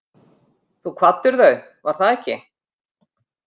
Þú kvaddir þau, var það ekki?